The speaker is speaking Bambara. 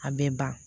A bɛ ban